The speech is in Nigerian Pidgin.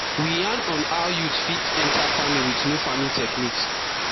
we yarn on how youths fit enter farming with new farming techniques